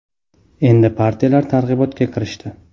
Endi partiyalar targ‘ibotga kirishdi.